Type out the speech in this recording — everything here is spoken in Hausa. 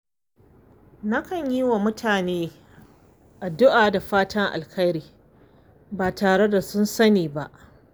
Nakan yi wa mutane addu’a da fatan alheri ba tare da sun sani ba.